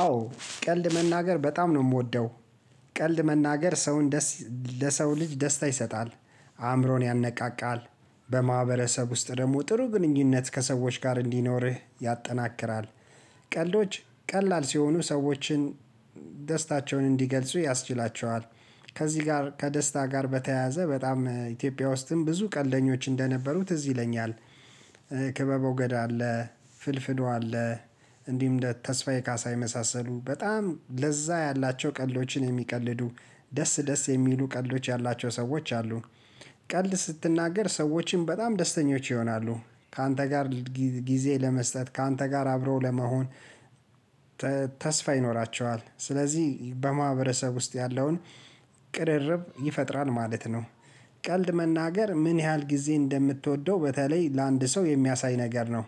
አዎ ቀልድ መናገር በጣም ነው እምወደው ቀልድ መናገር ሰውን ደስ ለሰው ልጅ ደስታ ይሰጣል አእምሮን ያነቃቃል። በማህበረሰብ ውስጥ ደሞ ጥሩ ግንኙነት ከሰዎች ጋር እንዲኖርህ ያጠናክራል። ቀልዶች ቀላል ሲሆኑ ሰዎችን ደስታቸውን እንዲገልጹ ያስችላቸዋል። ከዚህ ጋር ከደስታ ጋር በተያያዘ በጣም ኢትዮጵያ ውስጥም ብዙ ቀልደኞች እንደነበሩ ትዝ ይለኛል። ክበበው ገዳ አለ ፍልፍሉ አለ እንዲሁም እንደ ተስፋዬ ካሳ የመሳሰሉ በጣም ለዛ ያላቸው ቀልዶችን የሚቀልዱ ደስ ደስ የሚሉ ቀልዶች ያላቸው ሰዎች አሉ። ቀልድ ስትናገር ሰዎችን በጣም ደስተኞች ይሆናሉ ካንተ ጋር ጊዜ ለመስጠት ካንተ ጋር አብረው ለመሆን ተስፋ ይኖራቸዋል ስለዚህ በማህበረሰብ ውስጥ ያለውን ቅርርብ ይፈጥራል ማለት ነው። ቀልድ መናገር ምን ያህል ጊዜ እንደምትወደው በተለይ ለአንድ ሰው የሚያሳይ ነገር ነው።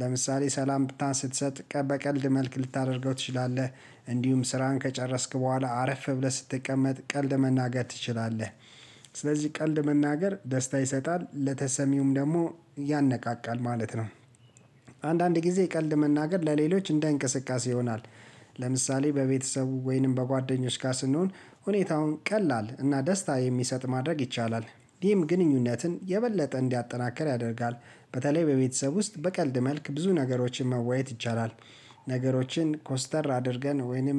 ለምሳሌ ሰላምታ ስትሰጥ በቀልድ መልክ ልታደርገው ትችላለህ። እንዲሁም ስራህን ከጨረስክ በኋላ አረፍ ብለህ ስትቀመጥ ቀልድ መናገር ትችላለህ። ስለዚህ ቀልድ መናገር ደስታ ይሰጣል ለተሰሚውም ደሞ ያነቃቃል ማለት ነው። አንዳንድ ጊዜ ቀልድ መናገር ለሌሎች እንደ እንቅስቃሴ ይሆናል። ለምሳሌ በቤተሰቡ ወይንም በጓደኞች ጋ ስንሆን ሁኔታውን ቀላል እና ደስታ የሚሰጥ ማድረግ ይቻላል ይሄም ግንኙነትን የበለጠ እንዲያጠናክር ያደርጋል። በተለይ በቤተሰብ ውስጥ በቀልድ መልክ ብዙ ነገሮችን መወያየት ይቻላል። ነገሮችን ኮስተር አድርገን ወይንም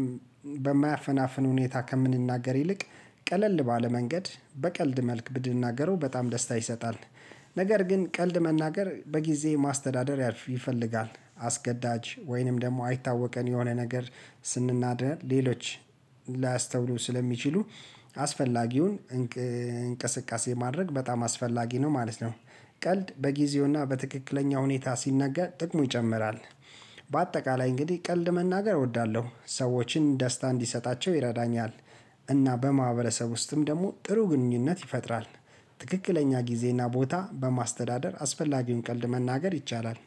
በማያፈናፍን ሁኔታ ከምንናገር ይልቅ ቀለል ባለ መንገድ በቀልድ መልክ ብንናገረው በጣም ደስታ ይሰጣል። ነገር ግን ቀልድ መናገር በጊዜ ማስተዳደር ይፈልጋል አስገዳጅ ወይንም ደግሞ አይታወቀን የሆነ ነገር ስንናደድ ሌሎች ላስተውሉ ስለሚችሉ አስፈላጊውን እንቅስቃሴ ማድረግ በጣም አስፈላጊ ነው ማለት ነው። ቀልድ በጊዜውና በትክክለኛው ሁኔታ ሲነገር ጥቅሙ ይጨምራል። በአጠቃላይ እንግዲህ ቀልድ መናገር እወዳለሁ ሰዎችን ደስታ እንዲሰጣቸው ይረዳኛል እና በማህበረሰብ ውስጥም ደሞ ጥሩ ግንኙነት ይፈጥራል። ትክክለኛ ጊዜና ቦታ በማስተዳደር አስፈላጊውን ቀልድ መናገር ይቻላል